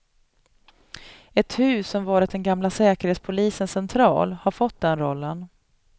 Ett hus som varit den gamla säkerhetspolisens central har fått den rollen.